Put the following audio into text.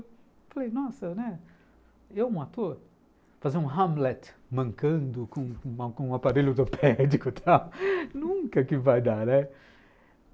Eu falei, nossa, né, eu um ator, fazer um Hamlet mancando com com um um aparelho ortopédico, nunca que vai dar, né,